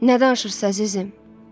Nə danışırsız, əzizim?